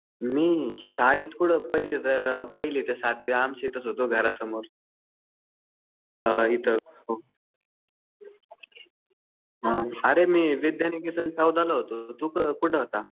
मी शाळेत कुठं, पहिली ते सातवी आमच्या इथंच होतो. घरासमोर. अ इथं. अरे मी विद्यानिकेतन चौदाला होतो. तू कुठं होता?